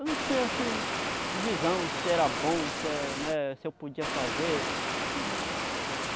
Eu não tinha, assim, visão se era bom, se é né, se eu podia fazer.